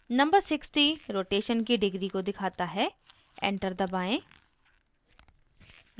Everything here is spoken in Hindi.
number 60 rotation की degrees को दिखता है enter दबाएं